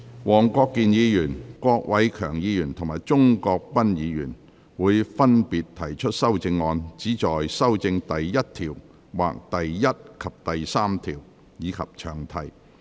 黃國健議員、郭偉强議員及鍾國斌議員會分別提出修正案，旨在修正第1條或第1及3條，以及詳題。